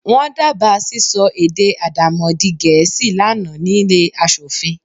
Wọ́n dábàá sísọ èdè Àdàmọ̀dì-gẹ̀ẹ́sì lá nàá nílé aṣòfin.